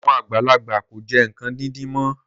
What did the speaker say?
Àwọn àgbàlagbà kò jẹ nǹkan díndín mọ́